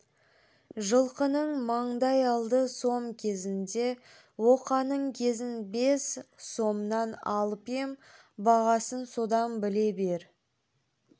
жылқының маңдай алды сом кезінде оқаның кезін бес сомнан алып ем бағасын содан біле бер